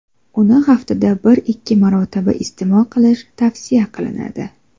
Uni haftada bir-ikki marotaba iste’mol qilish tavsiya qilinadi.